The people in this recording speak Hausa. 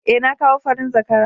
Eh, na kawo farin zakara